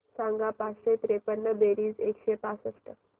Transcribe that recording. सांग पाचशे त्रेपन्न बेरीज एकशे पासष्ट